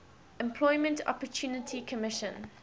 employment opportunity commission